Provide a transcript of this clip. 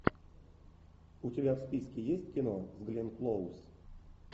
у тебя в списке есть кино с гленн клоуз